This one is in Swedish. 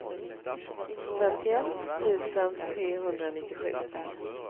femtioett tusen trehundranittiosju